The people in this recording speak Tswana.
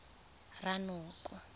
ranoko